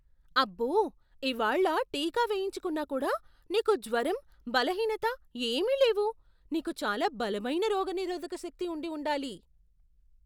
అబ్బో! ఇవాళ్ళ టీకా వేయించుకున్నా కూడా, నీకు జ్వరం, బలహీనత ఏమీ లేవు. నీకు చాలా బలమైన రోగనిరోధక శక్తి ఉండి ఉండాలి!